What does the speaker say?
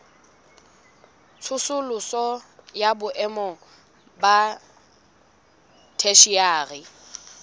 tsosoloso ya boemo ba theshiari